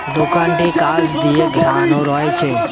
দোকানটি কাঁচ দিয়ে ঘেরানো রয়েছে।